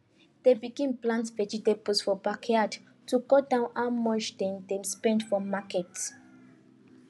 dem begin plant vegetables for backyard to cut down how much dem dey spend for market